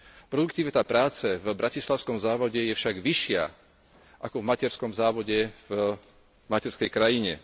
Produktivita práce v bratislavskom závode je však vyššia ako v materskom závode v materskej krajine.